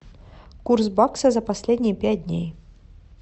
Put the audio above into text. курс бакса за последние пять дней